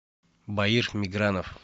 баир мигранов